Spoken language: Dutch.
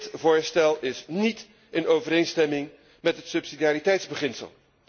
Dit voorstel is niet in overeenstemming met het subsidiariteitsbeginsel.